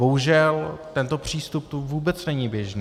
Bohužel, tento přístup tu vůbec není běžný.